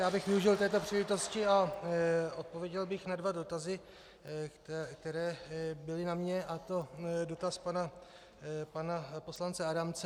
Já bych využil této příležitosti a odpověděl bych na dva dotazy, které byly na mne, a to dotaz pana poslance Adamce.